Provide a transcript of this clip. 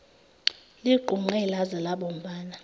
ligqunqe laze labomvana